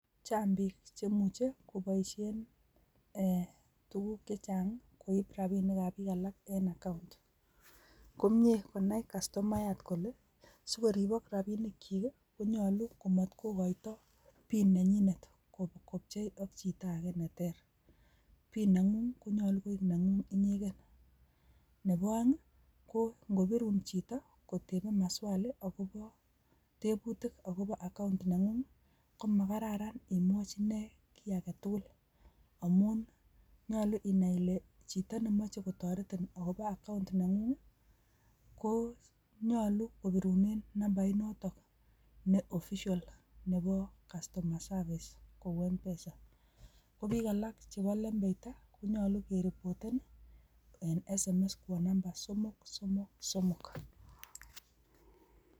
Chang biik chemuche koboishien e tuguuk chechang koib rabinik ab biik alak. Komie konai kastomayaat kole sikoribook rabinikyik konyolu komot kokoitoi pin nenyinet kopchei ak chito age neter. Pin nengung konyolu kooik nengung inyeken. Nebo oeng ko ingobirun chito kotebe maswali akobo teebutik akobo akaon nengung komakararan imwochi inee kiy agetugul. Amun nyolu inai ile chito nemoche kotoretiin akobo account (nengung konyolu kobirunen nambait notok ne official ,Nebo kastoma service kou mpesa. Kobikalak chebo lembeita, konyolu keripoten en sms kobun namba somok, somok ,somok.